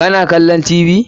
Ka na kallo Tv?